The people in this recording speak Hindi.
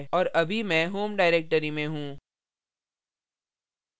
और अभी मैं home directory में हूँ